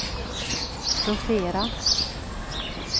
rotera